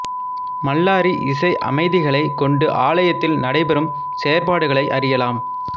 மல்லாரி இசை அமைதிகளைக் கொண்டு ஆலயத்தில் நடைபெறும் செயற்பாடுகளை அறியலாம்